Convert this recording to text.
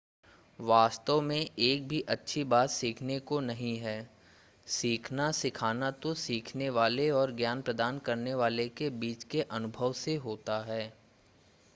वास्तव में एक भी अच्छी बात सीखने को नहीं है सीखना सिखाना तो सीखने वाले और ज्ञान प्रदान करने वाले के बीच के अनुभव से होता है